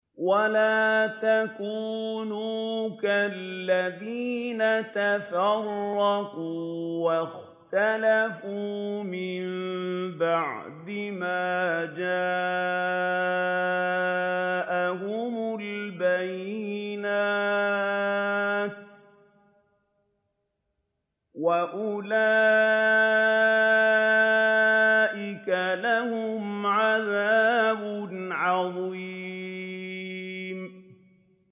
وَلَا تَكُونُوا كَالَّذِينَ تَفَرَّقُوا وَاخْتَلَفُوا مِن بَعْدِ مَا جَاءَهُمُ الْبَيِّنَاتُ ۚ وَأُولَٰئِكَ لَهُمْ عَذَابٌ عَظِيمٌ